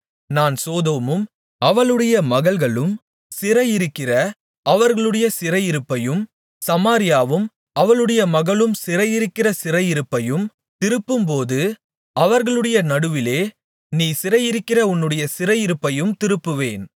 நான் சோதோமும் அவளுடைய மகள்களும் சிறையிருக்கிற அவர்களுடைய சிறையிருப்பையும் சமாரியாவும் அவளுடைய மகள்களும் சிறையிருக்கிற சிறையிருப்பையும் திருப்பும்போது அவர்களுடைய நடுவிலே நீ சிறையிருக்கிற உன்னுடைய சிறையிருப்பையும் திருப்புவேன்